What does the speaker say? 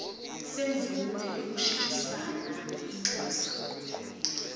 semvume yokushintshisana kwinxusa